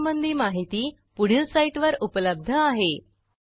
यासंबंधी माहिती पुढील साईटवर उपलब्ध आहे